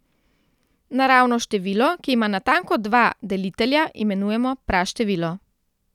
Naravno število, ki ima natanko dva delitelja, imenujemo praštevilo.